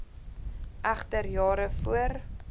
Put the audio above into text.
egter jare voor